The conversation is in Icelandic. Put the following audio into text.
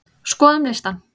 Skoðum listann!